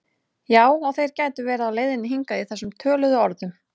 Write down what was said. Já og þeir gætu verið á leiðinni hingað í þessum töluðu orðum